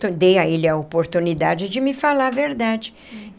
Dei a ele a oportunidade de me falar a verdade.